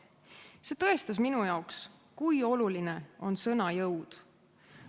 See tõestas minu jaoks, kui oluline on sõna jõud.